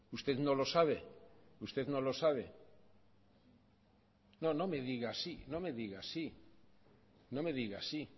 usted no lo sabe usted no lo sabe no no me diga sí no me diga sí no me diga sí